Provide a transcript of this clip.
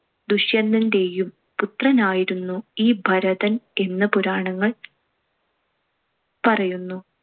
ദുഷ്യന്തന്‍റെയും പുത്രനായിരുന്നു ഈ ഭരതൻ എന്ന് പുരാണങ്ങൾ പറയുന്നു.